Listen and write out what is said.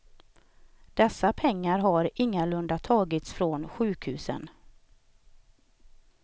Dessa pengar har ingalunda tagits från sjukhusen.